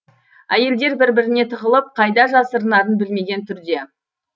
әйелдер бір біріне тығылып қайда жасырынарын білмеген түрде